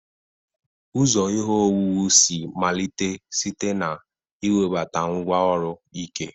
Ụzọ ihe owuwu si malite site na iwebata ngwá ọrụ ike.